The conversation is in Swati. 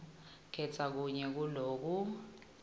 khetsa kunye kuloku